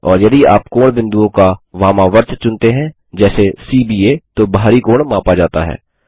और यदि आप कोणबिंदुओं का वामावर्त चुनते हैं जैसे सी ब आ तो बाहरी कोण मापा जाता है